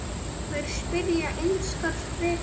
Þær spyrja einskis frekar.